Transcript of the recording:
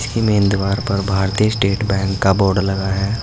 Main दीवार पर भारतीय स्टेट बैंक का बोर्ड लगा है।